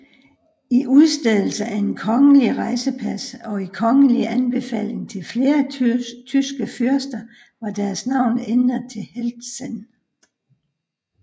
I udstedelse af et kongelig rejsepas og i kongelig anbefaling til flere tyske fyrster var deres navn ændret til Heltzen